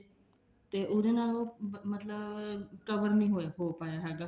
ਤੇ ਉਹਦੇ ਨਾਲ ਉਹ ਮਤਲਬ cover ਨੀ ਹੋ ਪਾਇਆ ਹੈਗਾ